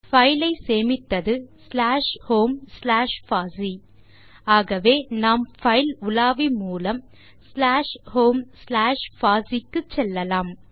file ஐ சேமித்தது slash home slash பாசி ஆகவே நாம் பைல் உலாவி மூலம் ஸ்லாஷ் ஹோம் ஸ்லாஷ் பாசி க்கு செல்லலாம்